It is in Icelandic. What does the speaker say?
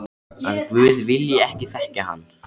Að guð vilji ekki þekkja hann.